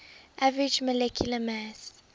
average molecular mass